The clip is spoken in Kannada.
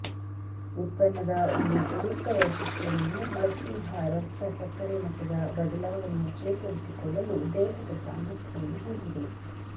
ಉತ್ಪನ್ನದ ಒಂದು ಉಪಯುಕ್ತ ವೈಶಿಷ್ಟ್ಯವನ್ನು ಮಧುಮೇಹ ರಕ್ತ ಸಕ್ಕರೆ ಮಟ್ಟದ ಬದಲಾವಣೆಯ ಚೇತರಿಸಿಕೊಳ್ಳಲು ದೇಹದ ಸಾಮರ್ಥ್ಯವನ್ನು ಹೊಂದಿದೆ